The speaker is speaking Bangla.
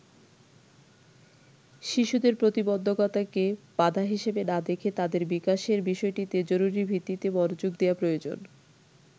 শিশুদের প্রতিবন্ধকতাকে বাধা হিসেবে না দেখে তাদের বিকাশের বিষয়টিতে জরুরিভিত্তিতে মনোযোগ দেয়া প্রয়োজন।